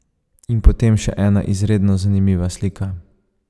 In potem še ena izredno zanimiva slika.